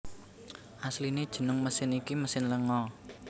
Asliné jeneng mesin iki mesin lenga